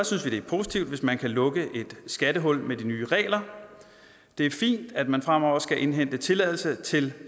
synes vi det er positivt hvis man kan lukke et skattehul med de nye regler det er fint at man fremover skal indhente tilladelse til